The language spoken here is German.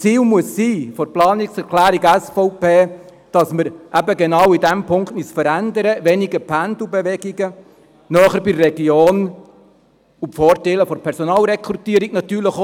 Das Ziel der Planungserklärung SVP muss sein, dass wir uns eben genau in diesem Punkt verändern: weniger Pendelbewegungen, näher bei der Region, und natürlich auch die Vorteile der Personalrekrutierung nutzen.